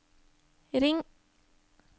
ring